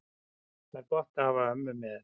Þá var gott að hafa ömmu með.